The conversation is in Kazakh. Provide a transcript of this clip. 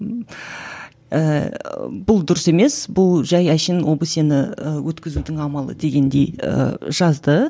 ыыы бұл дұрыс емес бұл жай әншейін обсе ні ііі өткізудің амалы дегендей і жазды